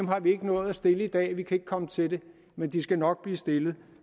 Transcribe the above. har vi ikke nået at stille i dag vi kan ikke komme til det men de skal nok blive stillet